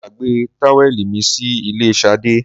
mo gbagbe táwẹ̀lì mi sí ilé Sade